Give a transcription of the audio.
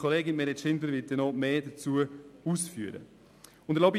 Grossrätin Schindler wird dazu weitere Ausführungen machen.